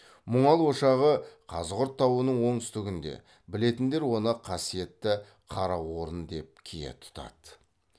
мұңал ошағы қазығұрт тауының оңтүстігінде білетіндер оны қасиетті қараорын деп кие тұтады